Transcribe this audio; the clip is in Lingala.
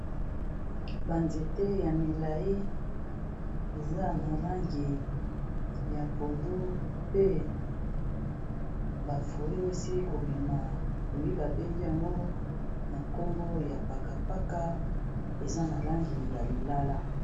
Ba zete ya milai eza na langi ya pondo pe bafui oi esili kobima fui babengi yango na nkombo ya pakapaka eza na langi ya lilala.